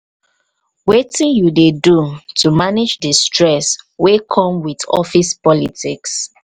wetin you dey do to manage di stress wey come with office politics.